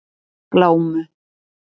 Glámu